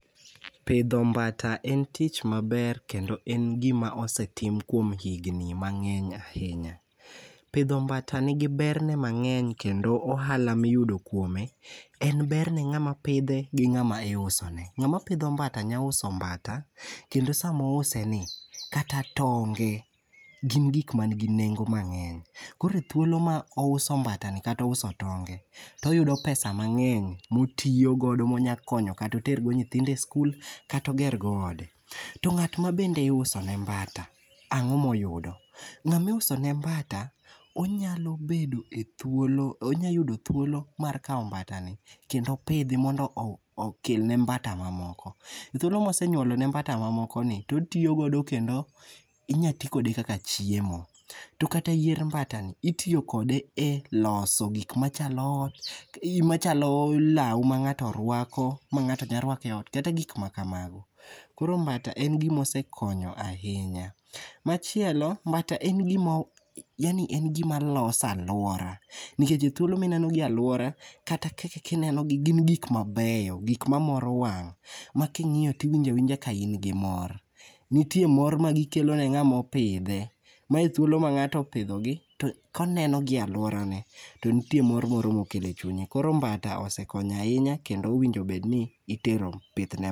Pidho mbata en tich maber kendo en gima osetim kuom higni mangeny ahinya. Pidho mbata nigi berne mangeny kendo ohala miyudo kuome en ber ne ngama pidhe gi ngama iusone. Ngama pidho mbata nya uso mbata kendo sama ouse ni kata tonge gin gik manigi nengo mangeny. Koro thuolo mouso mbata ni kata ouso tonge toyudo pesa mangeny motiyo godo monya konyo kata otergo nyithindo e skul kata oger go ode. To ngat mabende iuso ne mbata ango moyudo?.Ngama iuso ne mbata onyalo bedo e thuolo, onya yudo thuolo mar kao mbata ni kendo pidhe mondo okelne mbata mamoko.E thuolo mosenyuolone mbata moko gi otigo godo kendo onya tiyo go kaka chiemo to kata yier mbata ni itiyo kode e loso gik machalo ot, machalo lao mangato rwako ma ngato nya rwako e ot kata gik makamago. Koro mbata en gima osekonyo ahinya. Machielo mbata en gima, yaani en gim aloso aluora nikech e thuolo mineno gi e aluora kata kineno gi gin gik mabeyo, gik mamoro wang ma kingiyo angiya tiwinjo ka in gi mor. Nitie mor magikelo ne ngama opidhe ma e thuolo ma ngato opidhogi to ka oneno gi e aluora ne to nitie mor moro mokelo e chunye, koro mbata osekonyo ahiny akendo onego obedni ikelo pith ne